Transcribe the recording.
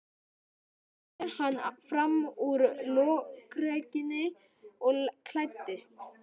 Loks sté hann fram úr lokrekkjunni og klæddist.